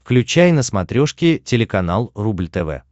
включай на смотрешке телеканал рубль тв